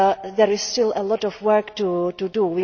There is still a lot of work to do.